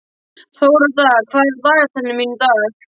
Þórodda, hvað er á dagatalinu mínu í dag?